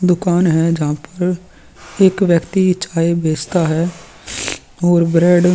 दुकान है जहाँ पर एक व्यक्ति चाय बेचता है और ब्रेड --